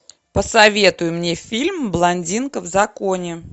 посоветуй мне фильм блондинка в законе